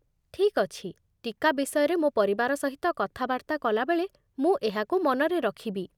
ଠିକ୍ ଅଛି, ଟୀକା ବିଷୟରେ ମୋ ପରିବାର ସହିତ କଥାବାର୍ତ୍ତା କଲାବେଳେ ମୁଁ ଏହାକୁ ମନରେ ରଖିବି।